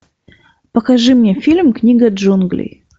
покажи мне фильм книга джунглей